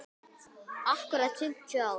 Akkúrat fimmtíu ár.